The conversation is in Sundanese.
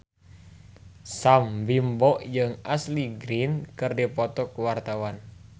Sam Bimbo jeung Ashley Greene keur dipoto ku wartawan